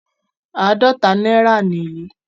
Àádọ́ta náírà nìyí.